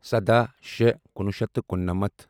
سداہ شےٚ کُنوُہ شیٚتھ تہٕ کُننَمتھ